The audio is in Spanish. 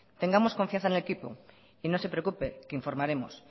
tengamos confianza en el equipo y no se preocupe que informaremos